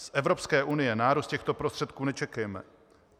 Z Evropské unie nárůst těchto prostředků nečekejme.